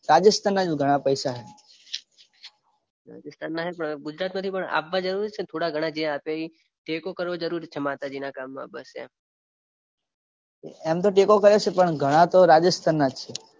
રાજસ્થાન જોડે ઘણા પૈસા છે. રાજસ્થાનના હે પણ ગુજરાતમાંથી પણ આપવા જરૂરી છે ને થોડા ઘણા આપ્યા એ, ટેકો કરવો જરૂરી છે માતાજીના કામમાં બસ એમ, એમ તો ટેકો કર્યો છે પણ ઘણા તો રાજસ્થાનના જ છે.